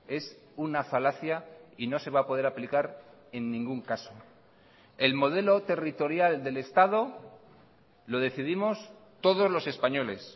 es una falacia y no se va a poder aplicar en ningún caso el modelo territorial del estado lo decidimos todos los españoles